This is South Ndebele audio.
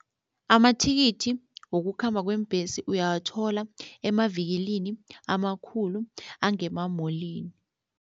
Amathikithi wokukhamba kweembhesi uyawathola emavikilini amakhulu angemamolini.